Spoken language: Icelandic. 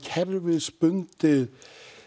kerfisbundið